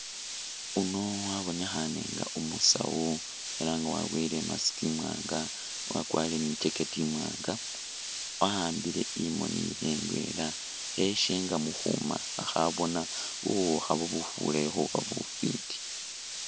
Uno wabonekhane nga umusawu elah nga waboyile i'mask imwanga, wakwarile ni jackect imwanga wa'ambile imoni yewe indwela kheyeshenga mukhuma khabona buwukha bubufurayo khuba bufiti